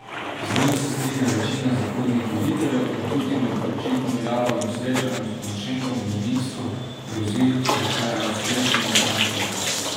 Z njim se strinja večina zahodnih voditeljev in Putinu po očitno jalovem srečanju s Porošenkom v Minsku grozi s še ostrejšimi sankcijami.